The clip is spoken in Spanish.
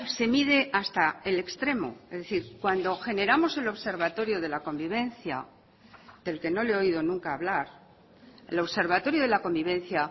se mide hasta el extremo es decir cuando generamos el observatorio de la convivencia del que no le he oído nunca hablar el observatorio de la convivencia